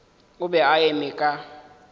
o be a eme ka